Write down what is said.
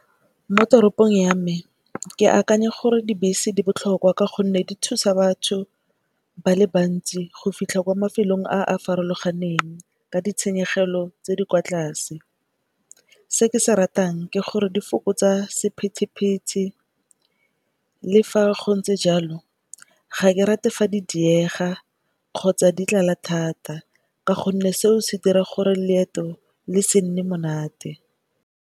Mo teropong ya me ke akanya gore dibese di botlhokwa ka gonne di thusa batho ba le bantsi go fitlha kwa mafelong a a farologaneng ka ditshenyegelo tse di kwa tlase. Se ke se ratang ke gore di fokotsa sepithipithi le fa go ntse jalo ga ke rate fa di diega kgotsa di tlala thata ka gonne seo se dira gore leeto le se nne monate.